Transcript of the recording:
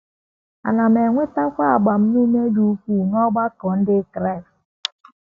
Ana m enwetakwa agbamume dị ukwuu n’ọgbakọ um Ndị Kraịst. ”